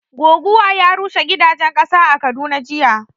Goguwa ya rushe gidajen ƙasa a Kaduna jiya